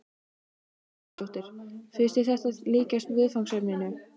Hugrún Halldórsdóttir: Finnst þér þetta líkjast viðfangsefninu?